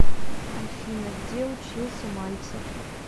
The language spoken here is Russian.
афина где учился мальцев